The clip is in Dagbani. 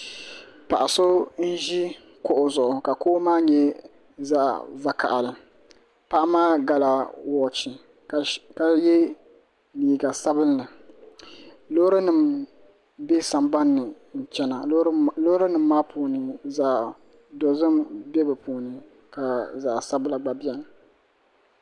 Paɣa so n ʒi kuɣu kuɣu zuɣu ka kuɣu maa nyɛ zaɣ vakaɣali paɣa maa gala wooch ka yɛ liiga sabinli loori nim bɛ sambanni n chɛna loori nim maa puuni zaɣ dozim bɛ di puuni ka zaɣ sabila gba biɛni